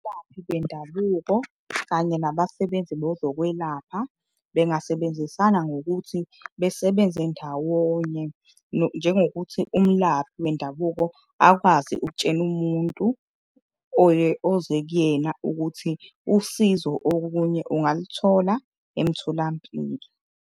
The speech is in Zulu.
Abalaphi bendabuko kanye nabasebenzi bezokwelapha bengasebenzisana ngokuthi besebenze ndawonye. Njengokuthi umlaphi wendabuko akwazi ukutshena umuntu oze kuyena ukuthi usizo okunye ungaluthola emtholampilo.